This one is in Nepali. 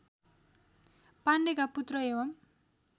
पाण्डेका पुत्र एवम्